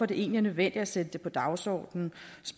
det egentlig nødvendigt at sætte det på dagsordenen